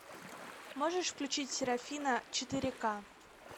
можешь включить серафина четыре ка